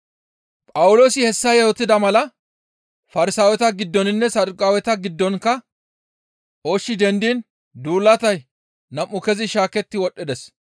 Phawuloosi hessa yootida mala Farsaaweta giddoninne Saduqaaweta giddonkka ooshshi dendiin duulatay nam7u kezi shaaketti wodhdhides.